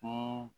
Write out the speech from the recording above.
Ko